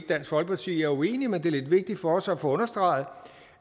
dansk folkeparti er uenige men det er lidt vigtigt for os at få understreget